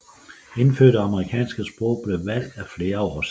Indfødte amerikanske sprog blev valgt af flere årsager